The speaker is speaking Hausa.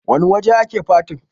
wane waje ake fatin?